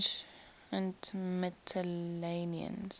ancient mytileneans